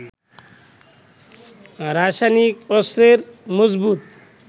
রাসায়নিক অস্ত্রের মজুত